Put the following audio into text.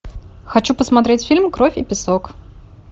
хочу посмотреть фильм кровь и песок